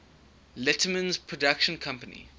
letterman's production company